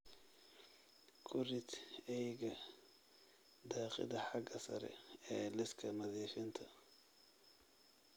Ku rid eyga dhaqida xagga sare ee liiska nadiifinta